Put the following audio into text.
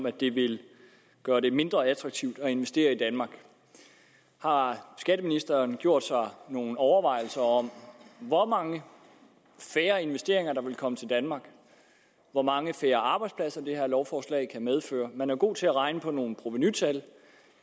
at det vil gøre det mindre attraktivt at investere i danmark har skatteministeren gjort sig nogle overvejelser om hvor mange færre investeringer der vil komme til danmark hvor mange færre arbejdspladser det her lovforslag vil medføre man er god til at regne på nogle provenutal